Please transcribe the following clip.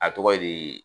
A tɔgɔ ye di